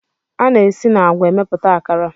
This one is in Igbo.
A na-esi na agwa emepụta akara.